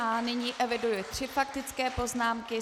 A nyní eviduji tři faktické poznámky.